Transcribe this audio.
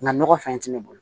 Nka nɔgɔ fɛn fɛn tɛ ne bolo